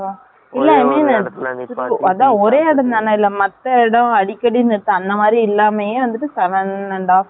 அதான் ஒரே இடம்தானே, இல்லை, மத்த இடம் அடிக்கடி நேத்து, அந்த மாதிரி இல்லாமையே வந்துட்டு, seven and half hours